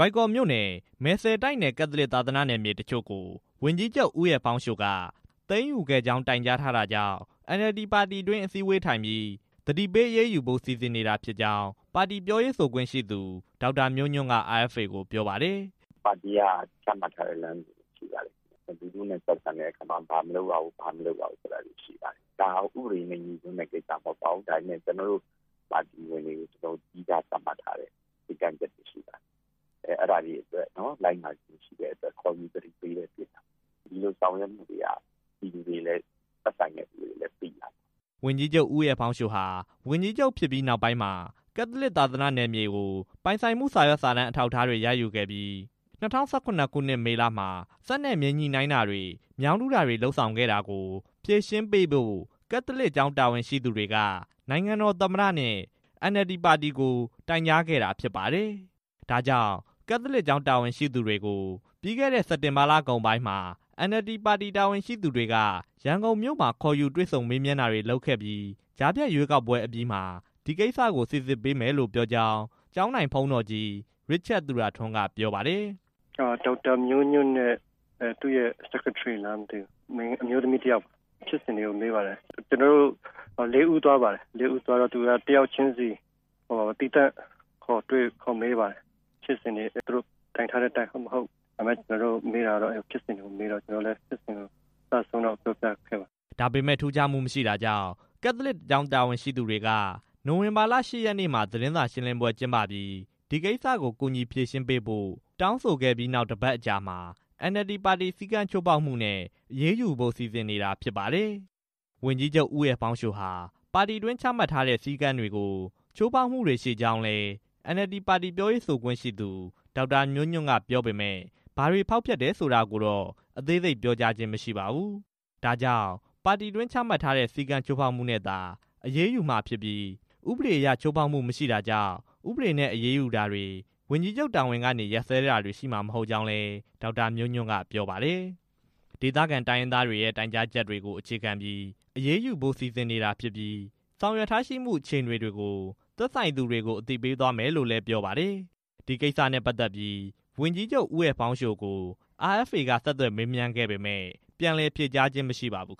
ိုင်ကော်မြို့နယ် မယ်စဲ့တိုက်နယ် ကက်သလစ်သာသနာ့မြေတချို့ကို ဝန်ကြီးချုပ် ဦးအယ်လ်ဖောင်းရှိုက သိမ်းယူခဲ့ကြောင်း တိုင်းကြားထားတာကြောင့် NLD ပါတီတွင်း အစည်းအဝေးထိုင်ပြီး သတိပေးအရေးယူဖို့ စီစဉ်နေတာဖြစ်ကြောင်း ပါတီပြောရေးဆိုခွင့်ရှိသူ ဒေါက်တာမျိုးညွန့်က RFA ကို ပြောပါတယ်။ "ပါတီက ချမှတ်ထားတဲ့ စည်းမျဉ်းတွေရှိပါတယ်၊ လူထုနဲ့ ဆက်ဆံတဲ့အခါမှာ ဘာမလုပ်ရဘူးဆိုတာရှိပါတယ်၊ ဒါက ဥပဒေနဲ့ ငြိစွန်းတဲ့ကိစ္စမဟုတ်ပါဘူး၊ ဒါပေမဲ့ ကျနော်တို့ပါတီဝင်တွေကို သီးခြားသတ်မှတ်ထားတဲ့ စည်းကမ်းချက်တွေရှိပါတယ်၊ အဲဒါတွေကို လိုက်နာခြင်းမရှိတဲ့အတွက် ခေါ်ယူသတိပေးတာဖြစ်ပါတယ်၊ ဒီလိုဆောင်ရွက်မှုတွေကို သက်ဆိုင်တဲ့သူတွေလည်း သိနိုင်အောင်ပါ" ဝန်ကြီးချုပ် ဦးအယ်လ်ဖောင်းရှိုဟာ ဝန်ကြီးချုပ်ဖြစ်ပြီးနောက်ပိုင်းမှာ ကက်သလစ် သာသနာ့မြေကို မြေပိုင်ဆိုင်မှု စာရွက်စာတမ်း အထောက်အထားတွေရယူခဲ့ပြီး ၂၀၁၇ ခုနှစ် မေလမှာ စက်နဲ့ မြေညှိတာတွေ မြောင်းတူးတာတွေ လုပ်ဆောင်ခဲ့တာကို ဖြေရှင်းပေးဖို့ ကက်သလစ်ကျောင်းတာဝန်ရှိသူတွေက နိုင်ငံတော်သမ္မတနဲ့ NLD ပါတီကို တိုင်ကြားခဲ့တာဖြစ်ပါတယ်။ ဒါကြောင့် ကက်သလစ်ကျောင်းတာဝန်ရှိသူတွေကို ပြီးခဲ့တဲ့ စက်တင်ဘာလကုန်ပိုင်းမှာ NLD ပါတီ တာဝန်ရှိသူတွေက ရန်ကုန်မြို့မှာ ခေါ်ယူတွေ့ဆုံမေးမြန်းတာတွေလုပ်ခဲ့ပြီးစ ကြားဖြတ်ရွေးကောက်ပွဲအပြီးမှာ ဒီကိစ္စကို စီစစ်ပေးမယ်လို့ ပြောကြောင်း ကျောင်းထိုင်ဘုန်းတော်ကြီး ရစ်ချတ်သူရထွန်းက ပြောပါတယ်။ "ဒေါက်တာမျိုးညွန့်နဲ့ သူ့ရဲ့ အတွင်းရေးမှူးနဲ့တူတယ် ကျနော်တို့ရဲ့ ဖြစ်စဉ်တွေကို မေးပါတယ်၊ ကျနော်တို့ ၄ ဦး သွားတာ တစ်ယောက်ချင်းစီကို သီးသန့်ခေါ်တွေ့၊ ခေါ်မေးပါတယ်၊ ဖြစ်စဉ်တွေက သူတို့ကိုတိုင်ထားတဲ့အတိုင်း ဟုတ် မဟုတ် မေးတော့ ကျနော်တို့လည်း ပြောခဲ့ပါတယ်" ဒါပေမဲ့ ထူးခြားမှုမရှိတာကြောင့် ကက်သလစ်ကျောင်း တာဝန်ရှိသူတွေက နိုဝင်ဘာလ ၈ ရက်နေ့မှာ သတင်းစာရှင်းလင်းပွဲကျင်းပပြီး ဒီကိစ္စကို ကူညီဖြေရှင်းပေးဖို့အတွက် တောင်းဆိုခဲ့ပြီးနောက် ၁ ပတ်အကြာမှာ NLD ပါတီစည်းကမ်းချိုးဖောက်မှုနဲ့ အရေးယူဖို့ စီစဉ်နေတာဖြစ်ပါတယ်။ ဝန်ကြီးချုပ် ဦးအယ်လ်ဖောင်းရှိုဟာ ပါတီတွင်းချမှတ်ထားတဲ့ တခြားစည်းကမ်းချက်တွေကို ဖောက်ဖျက်မှုတွေ ရှိကြောင်းလည်း NLD ပါတီ ပြောရေးဆိုခွင့်ရှိသူ ဒေါက်တာမျိုးညွန့် ကပြောပေမယ့် ဘာတွေဖောက်ဖျက်လည်း ဆိုတာကိုတော့ အသေးစိတ် ပြောကြားခြင်း မရှိပါဘူး။ ဒါကြောင့် ပါတီတွင်းချမှတ်ထားတဲ့ စည်းကမ်းချက်ချိုးဖောက်မှုနဲ့သာ အရေးယူမှာဖြစ်ပြီး ဥပဒေအရ ချိုးဖောက်တာမရှိတာကြောင့် ဥပဒေနဲ့အရေးယူတာတွေ ဝန်ကြီးချုပ်တာဝန်ကနေ ရပ်စဲတာတွေရှိမှာ မဟုတ်ကြောင်းလည်း ဒေါက်တာမျိုးညွန့်က ပြောပါတယ်။ ဒေသခံတိုင်းရင်းသားတွေရဲ့ တိုင်းကြားချက်တွေကို အခြေခံပြီး အရေးယူဖို့စီစဉ်နေတာဖြစ်ပြီး ဆောင်ရွက်ထားရှိမှု အခြေအနေတွေကို သက်ဆိုင်သူတွေကို အသိပေးသွားမယ်လို့လည်း သိရပါတယ်။ ဒီကိစ္စနဲ့ ပတ်သက်ပြီး ဝန်ကြီးချုပ် ဦးအယ်လ်ဖောင်းရှို ကို RFA က ဆက်သွယ်မေးမြန်းခဲ့ပေမဲ့ ပြန်လည်ဖြေကြားခြင်း မရှိပါဘူး